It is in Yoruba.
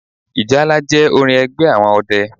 Ìjálá jẹ́ orin ẹgbẹ́ àwọn ọdẹ